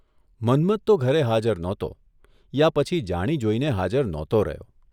મન્મથ તો ઘરે હાજર નહોતો યા પછી જાણી જોઇને હાજર નહોતો રહ્યો.